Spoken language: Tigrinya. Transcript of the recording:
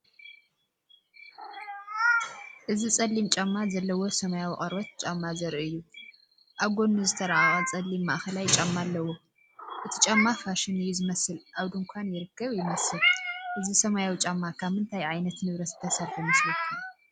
እዚ ጸሊም ጫማ ዘለዎ ሰማያዊ ቆርበት ጫማ ዘርኢ እዩ። ኣብ ጎድኑ ዝተራቐቐ ጸሊም ማእከላይ ጫማ ኣለዎ። እቲ ጫማ ፋሽን እዩ ዝመስል ኣብ ድኳን ይርከብ ይመስል። እዚ ሰማያዊ ጫማ ካብ ምንታይ ዓይነት ንብረት ዝተሰርሐ ይመስለኩም?